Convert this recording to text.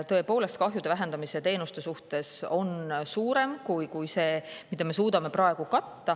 " Tõepoolest, kahjude vähendamise teenuste vajadus on suurem, kui me suudame praegu.